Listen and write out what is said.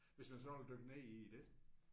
Hvis man sådan vil dykke ned i det ik